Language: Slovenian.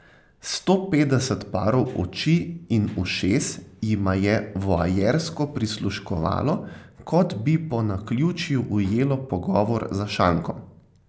Sto petdeset parov oči in ušes jima je voajersko prisluškovalo, kot bi po naključju ujelo pogovor za šankom.